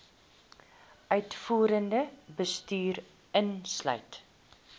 uitvoerende bestuur insluit